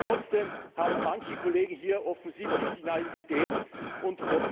Trotzdem haben manche Kollegen hier offensichtlich die Naivität und